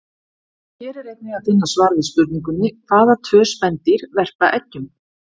Hér er einnig að finna svar við spurningunni: Hvaða tvö spendýr verpa eggjum?